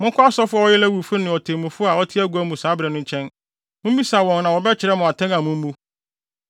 Monkɔ asɔfo a wɔyɛ Lewifo ne otemmufo a ɔte agua mu saa bere no nkyɛn. Mummisa wɔn na wɔbɛkyerɛ mo atɛn a mummu.